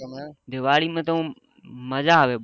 દિવાળી માં તો મજા આવે